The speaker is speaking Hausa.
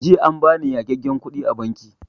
Jiya an bani yagagen kuɗi a banki